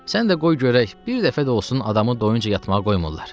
Sən də qoy görək, bir dəfə də olsun adamı doyunca yatmağa qoymurlar.